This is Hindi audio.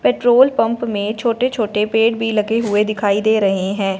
पेट्रोल पंप में छोटे छोटे पेड़ भी लगे हुए दिखाई दे रहे हैं।